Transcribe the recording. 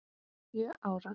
Sjö ára.